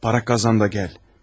Para qazan da gəl.